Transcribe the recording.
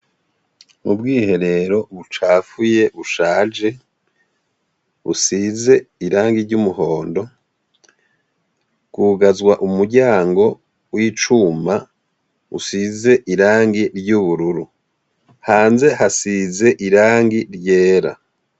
Ubwiherero bucafuye bushaje busize irangi ry'umuhondo, bwugagazwa umuryango w'icuma usize irangi ry'ubururu ,hanze hasize irangi ryera.